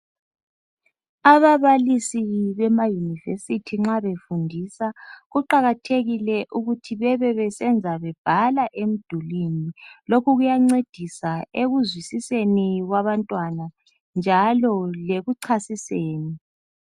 Ababalisi bemaYunivesi nxa befundisa kuqakathekile ukuthi bebebesenza bebhala emdulwini. Lokhu kuyancedisa ekuzwisiseni kwabantwana njalo lekuchasiseni.